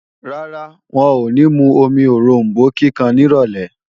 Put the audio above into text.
Rárá, wọn ò ní mú omi oròmbó kíkan nírọ̀lé